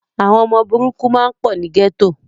Àwọn ọmọ burúkú máa pọ̀ ni gẹ́tò.